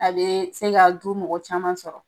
A bee se ka du mɔgɔ caman sɔrɔ